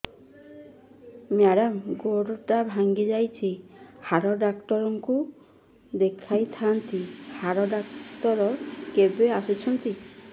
madam ଗୋଡ ଟା ଭାଙ୍ଗି ଯାଇଛି ହାଡ ଡକ୍ଟର ଙ୍କୁ ଦେଖାଇ ଥାଆନ୍ତି ହାଡ ଡକ୍ଟର କେବେ ଆସୁଛନ୍ତି